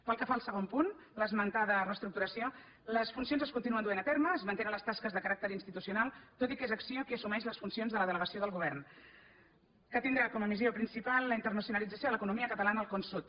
pel que fa al segon punt l’esmentada reestructuració les funcions es continuen duent a terme es mantenen les tasques de caràcter institucional tot i que és acc1ó qui assumeix les funcions de la delegació del govern que tindrà com a missió principal la internacionalització de l’economia catalana al con sud